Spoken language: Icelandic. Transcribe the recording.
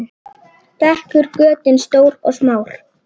Þekur götin stór og smá.